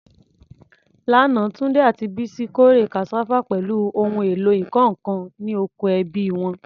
Lánàá, Tunde àti Bisi kórè cassava pẹ̀lú ohun èlò ìkọ́ nǹkan ní oko ẹbí wọn.